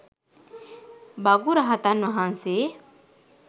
භගු රහතන් වහන්සේ